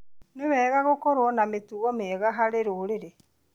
Nĩ bata gũkorwo na mĩtugo mĩega harĩ rũrĩrĩ.